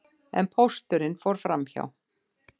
En pósturinn fór framhjá!